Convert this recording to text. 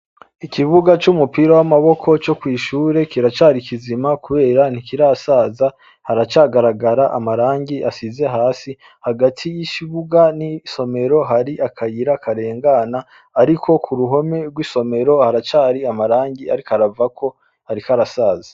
Ikibuga c'umupira w'amaboko co kwishure kiracari ikizima, kubera ntikirasaza haracagaragara amarangi asize hasi hagati y'ikibuga n'isomero hari akayira akarengana, ariko ku ruhome rw'isomero haracari amarangi, ariko aravako, ariko arasaza.